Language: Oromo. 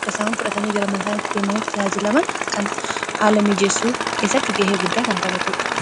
akka isaan fudhatanii gara mana isaani itti deemametti ijaaji laman kana haala miijeessuu keessatti ga'ee guddaa kan taphatuudha.